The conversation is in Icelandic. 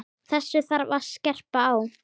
Þessu þarf að skerpa á.